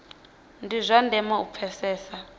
ndi zwa ndeme u pfesesa